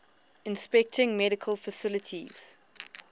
inspecting medical facilities